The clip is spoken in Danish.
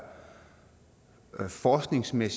al for snævert man